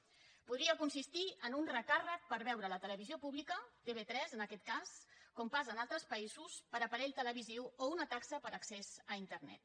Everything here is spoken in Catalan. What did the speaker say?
podria consistir en un recàrrec per veure la televisió pública tv3 en aquest cas com passa en altres països per aparell televisiu o una taxa per accés a internet